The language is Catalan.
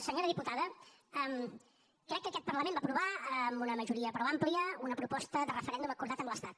senyora diputada crec que aquest parlament va aprovar amb una majoria prou àmplia una proposta de referèndum acordat amb l’estat